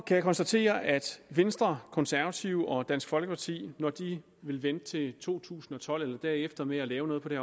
jeg konstatere at venstre konservative og dansk folkeparti når de vil vente til to tusind og tolv eller derefter med at lave noget på det